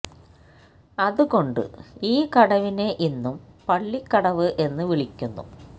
അത് കൊണ്ട് ഈ കടവിനെ ഇന്നും പള്ളി കടവ് എന്ന് വിളിക്കുന്നു